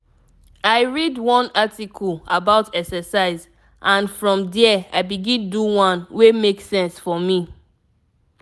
i read one article about exercise and from there i begin do one wey make sense for me.